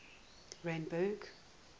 randburg